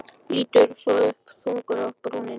Lítur svo upp, þungur á brúnina.